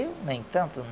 Eu nem tanto.